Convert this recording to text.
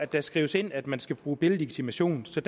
det skrives ind at man skal bruge billedlegitimation så